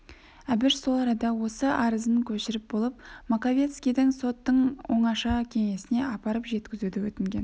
әбіш сол арада осы арызын көшіріп болып маковецкийден соттың оңаша кеңесіне апарып жеткізуді өтінген